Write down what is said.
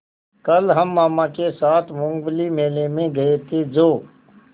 कल हम मामा के साथ मूँगफली मेले में गए थे जो